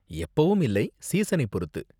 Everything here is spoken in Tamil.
எப்பவும் இல்லை, சீசனை பொறுத்து.